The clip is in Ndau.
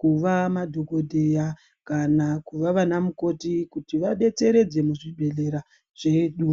kuva madhokodheya kana kuva vanamukoti kuti vadetseredze muzvibhedhlera zvedu.